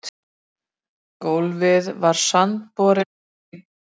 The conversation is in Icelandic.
Gólfið var sandborinn steinn.